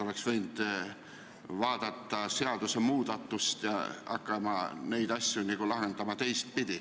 Oleks võinud juba varakult plaanida seadusmuudatust ja hakkama neid asju lahendama teistpidi.